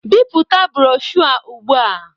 Bipụta broshọ ugbu a